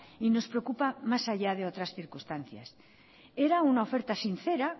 y nos preocupa más allá que otras circunstancias era una oferta sincera